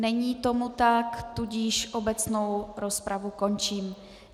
Není tomu tak, tudíž obecnou rozpravu končím.